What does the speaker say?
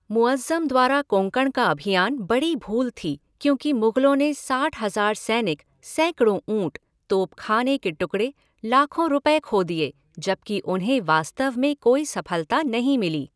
मुअज़्ज़म द्वारा कोंकण का अभियान बड़ी भूल थी, क्योंकि मुग़लों ने साठ हज़ार सैनिक, सैकड़ों ऊँट, तोपख़ाने के टुकड़े, लाखों रुपये खो दिए, जबकि उन्हें वास्तव में कोई सफलता नहीं मिली।